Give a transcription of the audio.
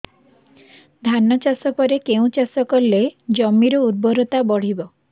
ଧାନ ଚାଷ ପରେ କେଉଁ ଚାଷ କଲେ ଜମିର ଉର୍ବରତା ବଢିବ